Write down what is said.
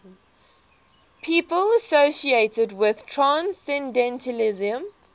people associated with transcendentalism